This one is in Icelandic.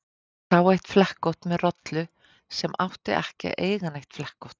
Ég sá eitt flekkótt með rollu sem átti ekki að eiga neitt flekkótt.